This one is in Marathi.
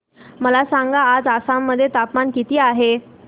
मला सांगा आज आसाम मध्ये तापमान किती आहे